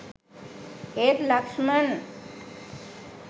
ඒත් ලක්ෂ්මන්